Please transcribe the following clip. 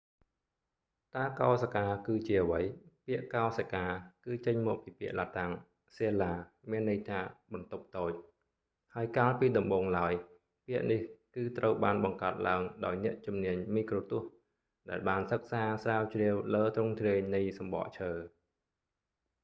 តើកោសិកាគឺជាអ្វី ពាក្យ កោសិកា គឺចេញមកពីពាក្យឡាតាំង ស៊ែលឡា cella មានន័យថា បន្ទប់តូច ហើយកាលពីដំបូងឡើយ ពាក្យនេះគឺត្រូវបានបង្កើតឡើងដោយអ្នកជំនាញមីក្រូទស្សន៍ដែលបានសិក្សាស្រាវជ្រាវលើទ្រង់ទ្រាយនៃសំបកឈើ